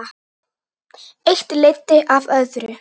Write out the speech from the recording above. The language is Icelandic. Eitt leiddi af öðru.